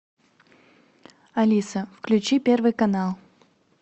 алиса включи первый канал